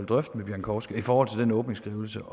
drøfte med pieńkowska i forhold til den åbningsskrivelse